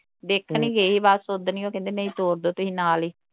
ਦੇਖਣ ਹੀ ਗਏ ਹੀ ਬਸ ਉੱਦਣ ਈ ਉਹ ਕਹਿੰਦੇ ਨਹੀਂ ਤੋਰਦੇ ਤੁਹੀ ਨਾਲ ਹੀ